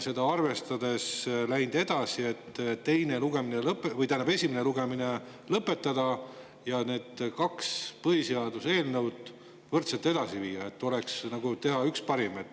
Seda arvestades edasi minna nii, et esimene lugemine lõpetatakse ja need kaks põhiseaduse eelnõu viiakse võrdselt edasi, et teha üks parim.